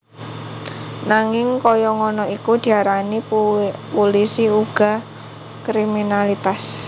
Nanging kaya ngono iku diarani pulisi uga kriminalitas